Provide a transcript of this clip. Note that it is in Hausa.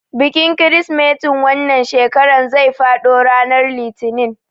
Bikin kirsimetin wannan shekarar zai faɗo ranar litinin.